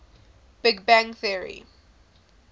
big bang theory